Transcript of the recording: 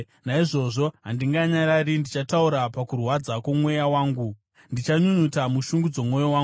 “Naizvozvo handinganyarari; ndichataura pakurwadza kwomweya wangu, ndichanyunyuta mushungu dzomwoyo wangu,